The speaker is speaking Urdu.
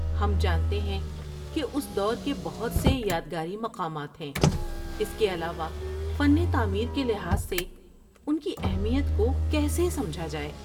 ہم جانتے ہیں کہ اس دور کے بہت سے یادگاری مقامات ہیں۔ اس کے علاوہ فن تعمیر کے لحاظ سے ان کی اہمیت کو کیسے سمجھا جائے؟